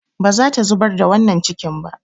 Ba za ta zubar da wannan cikin ba.